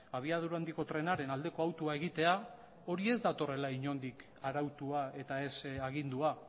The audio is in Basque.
abiadura handiko trenaren aldeko autua egitea hori ez datorrela inondik arautua eta ez agindua